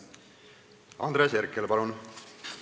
Andres Herkel, palun!